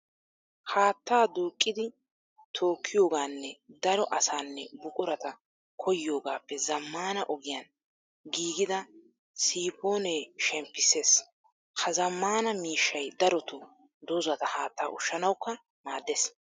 Haattaa duuqqidi tookkiyogaanne daro asaanne buqurata koyyiyogaappe zammaana ogiyan giigida siipoonee shemppissiis. Ha zammaana miishshay darotoo dozata haattaa ushshanawukka maaddees.